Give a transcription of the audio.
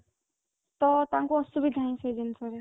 ତ ତାଙ୍କୁ ଅସୁବିଧା ହଉଛି ସେଇ ଜିନିଷରେ